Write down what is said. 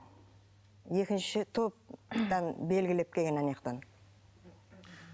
екінші топтан белгілеп келген анаяқтан